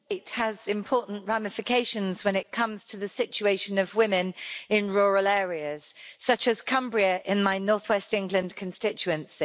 Madam President, it has important ramifications when it comes to the situation of women in rural areas, such as Cumbria in my northwest England constituency.